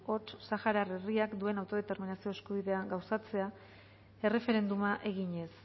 hots saharar herriak duen autodeterminazio eskubidea gauzatzea erreferenduma eginez